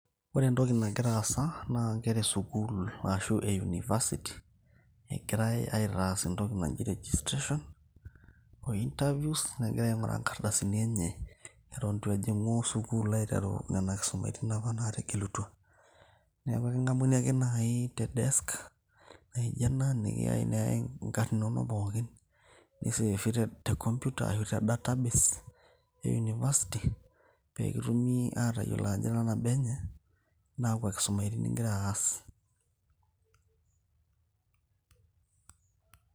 Ore entoki nagira aasa na nkera esukul e university nagirai aitaas entoki naji registration oo interviews egirai ainguraa nkardasini enye eton ituejingu sukul aiteru ena kisuma ,ekingamuni naai tedesk nijo ena neyai nkarn inonok pookin te computer arashu te database e university peetum atayiolo ajo ira nabo enye na kakwa kisumani ingira aas.